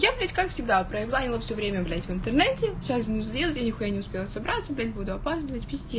я блядь как всегда провела его все время в интернете часть сделки нихуя не успела собрать буду опаздывать вести